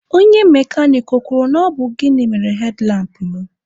Onye mekanik ọ kwuru na ọ bụ gịnị mere hedlampụ mụ?